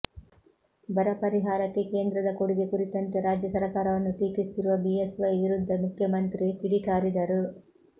ಬರ ಪರಿಹಾರಕ್ಕೆ ಕೇಂದ್ರದ ಕೊಡುಗೆ ಕುರಿತಂತೆ ರಾಜ್ಯ ಸರಕಾರವನ್ನು ಟೀಕಿಸುತ್ತಿರುವ ಬಿಎಸ್ ವೈ ವಿರುದ್ಧ ಮುಖ್ಯಮಂತ್ರಿ ಕಿಡಿಕಾರಿದರು